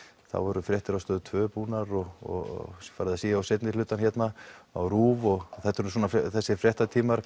þá voru fréttir á Stöð tvær búnar og farið að síga á seinni hlutann hérna á RÚV og þetta er nú þessir fréttatímar